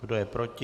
Kdo je proti?